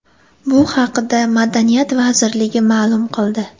Bu haqda Madaniyat vazirligi ma’lum qildi .